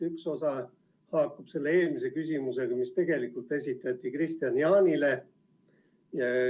Üks osa haakub eelmise küsimusega, mis esitati Kristian Jaanile.